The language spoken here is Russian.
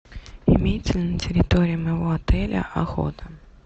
имеется ли на территории моего отеля охота